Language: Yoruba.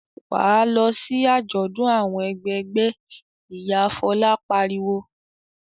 "Wà á lọ sí àjọ̀dún àwọn ẹgbẹgbẹ́!" Ìyá Fọlá pariwo.